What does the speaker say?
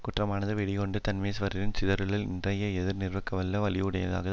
கூற்றமானது வெகுண்டு தன்மேல்வரினும் சிதறுதல் இன்றியே எதிர் நிற்கவல்ல வலியுடையதே